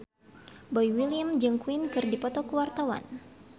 Boy William jeung Queen keur dipoto ku wartawan